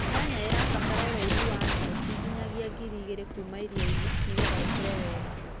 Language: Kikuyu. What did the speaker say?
nyanya ĩrabata ũraĩhũ wa notĩ ngĩnyagĩa ngĩrĩ ĩgĩrĩ kũũma ĩrĩa-ĩnĩ nĩgetha ĩkũre wega